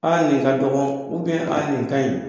Aa nin ka dɔgɔ nin ka ɲin.